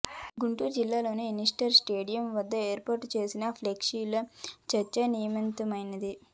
గుంటూరు జిల్లాలోని ఎన్టీఆర్ స్టేడియం వద్ద ఏర్పాటు చేసిన ఫ్లెక్సీ చర్చనీయాంశమైంది